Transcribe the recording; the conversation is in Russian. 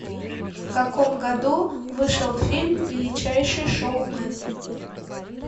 в каком году вышел фильм величайший шоумен